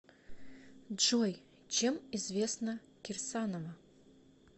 джой чем известна кирсанова